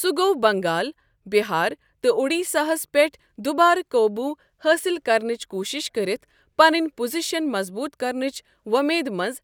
سُہ گوٚو بنگال، بہار تہٕ اُڈیسا ہَس پٮ۪ٹھ دوبارٕ قابوٚو حٲصِل کرنٕچ کُوشش کٔرتھ پنٕنۍ پوزیشن مضبوٗط کرنٕچ اُمید منٛز